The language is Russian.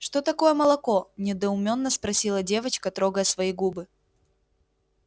что такое молоко недоуменно спросила девочка трогая свои губы